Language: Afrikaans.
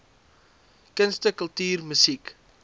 kunste kultuur musiek